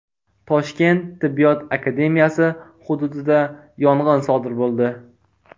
Toshkent tibbiyot akademiyasi hududida yong‘in sodir bo‘ldi.